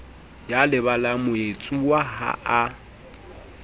ya lebalang moetsuwa ha a